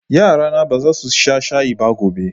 Yarana ba za su sha shayi ba gobe.